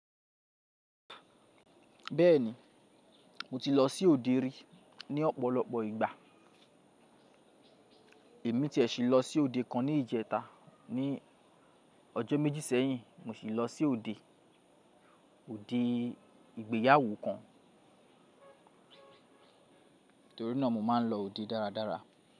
Bẹ́ẹ̀ni, mo ti lọ sí òde rí ní ọ̀pọ̀lọpọ̀ ìgbà. Èmi tiẹ̀ sì lọ sí òde kan ní ìjẹta ní ọjọ́ méjì sẹ́yìn mo sì lọ sí òde, òde ìgbéyàwó kan. Nítorí náà mo máa ń lọ òde dáradára.